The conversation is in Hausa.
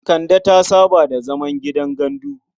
Kande ta saba da zaman gidan gandu.